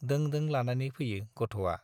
दों दों लानानै फैयो गथ'आ।